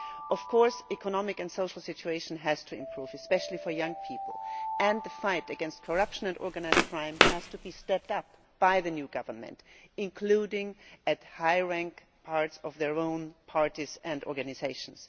Of course, the economic and social situation has to improve, especially for young people, and the fight against corruption and organised crime has to be stepped up by the new government, including in high-ranking parts of their own parties and organisations